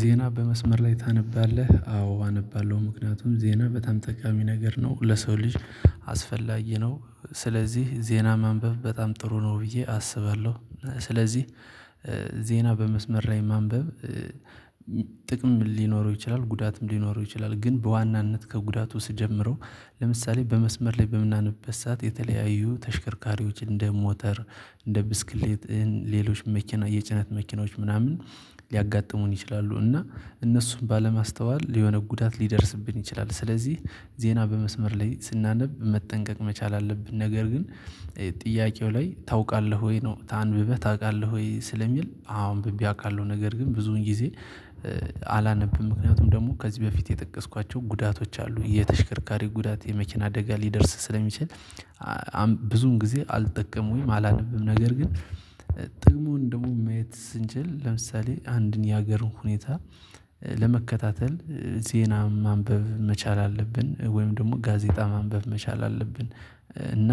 ዜና በመስመር ላይ ታነባለህ? አዎ አነባለሁ ምክንያቱም ዜና በጣም ጠቃሚ ነገር ነው ለሰው ልጅ አስፈላጊ ነው። ስለዚህ ዜና ማንበብ በጣም ጥሩ ነው ብዬ አስባለሁ ስለዚህ። ዜና በመስመር ላይ ማንበብ። ጥቅም ሊኖረው ይችላል ጉዳትም ሊኖረው ይችላል ግን በዋናነት ከጉዳቱ ስጀምረው። ለምሳሌ በመስመር ላይ በምናነበበት ሰዓት የተለያዩ ተሽከርካሪዎች እንደ ሞተር እንደ ብስክሌት ሌሎች መኪና የጭነት መኪናዎች ምናምን ሊያጋጥሙን ይችላሉ። እና እነሱን ባለማስተዋል የሆነ ጉዳት ሊደርስብን ይችላል። ስለዚህ ዜና በመስመር ላይ ስናነብ መጠንቀቅ መቻል አለብን። ነገር ግን ጥያቄው ላይ ታውቃለህ ወይ ነው ታንብበህ ታውቃለህ? ወይ ስለሚል አዎ አንብቤ አውቃለሁ ነገር ግን ብዙን ጊዜ አላነብም። ምክንያቱም ደግሞ ከዚህ በፊት የጠቀስኳቸው ጉዳቶች አሉ የተሽከርካሪ ጉዳት የመኪና አደጋ ሊደርስ ስለሚችል። ብዙን ጊዜ አልጠቀሙኝም አላልንብም ነገር ግን። ጥቅሙን ደግሞ ማየት ስንችል ለምሳሌ አንድን የሀገር ሁኔታ ለመከታተል ዜና ማንበብ መቻል አለብን ወይም ደግሞ ጋዜጣ ማንበብ መቻል አለብን። እና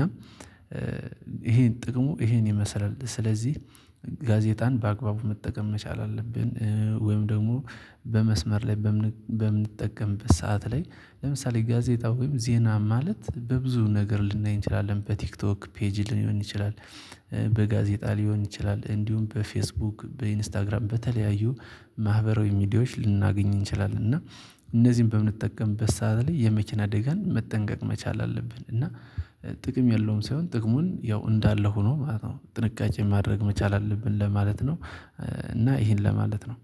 ይሄን ጥቅሙ ይሄን ይመስላል ስለዚህ። ጋዜጣን በአግባቡ መጠቀም መቻል አለብን ወይም ደግሞ በመስመር ላይ በምን በምንጠቀምበት ሰዓት ላይ ለምሳሌ ጋዜጣ ወይም ዜና ማለት በብዙ ነገር ልናይ እንችላለን በቲክቶክ ፔጅ ሊሆን ይችላል። በጋዜጣ ሊሆን ይችላል እንዲሁም በፌስቡክ በኢንስታግራም በተለያዩ ማህበራዊ ሚዲያዎች ልናገኝ እንችላለን። እና እነዚህን በምንጠቀምበት ሰዓት ላይ የመኪና አደጋን መጠንቀቅ መቻል አለብን። እና ጥቅም የለውም ሳይሆን ጥቅሙን ያው እንዳለ ሆኖ ማለት ነው ጥንቃቄ ማድረግ መቻል አለብን ለማለት ነው። እና ይሄን ለማለት ነው